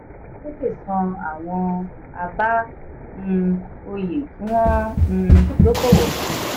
dangote san àwọn aba n òye kí wọ́n um dọkọwò fún.